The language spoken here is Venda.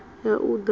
ya u da u mala